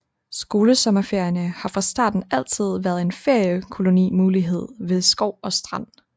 Skolesommerferierne har fra starten altid været en feriekolonimulighed ved skov og strand